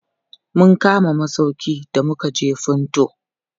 Mun kama masauƙi da mukaje Funtua.